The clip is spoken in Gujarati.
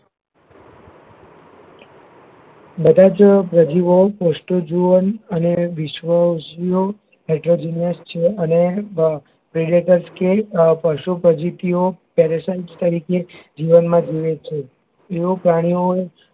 બધાજ પ્રજીવો પ્રુષ્ટજીવન અને વિષ્વષીયો અને hydrogenous અને bigrakleske અ પશુ પજીતીઓ paration તરીકે જીવનમાં જીવે છે એઓ પ્રાણીઓ